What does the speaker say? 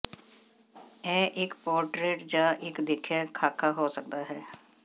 ਇਹ ਇੱਕ ਪੋਰਟਰੇਟ ਜ ਇੱਕ ਦੇਖਿਆ ਖ਼ਾਕਾ ਹੋ ਸਕਦਾ ਹੈ